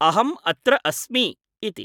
अहम् अत्र अस्मि ' इति ।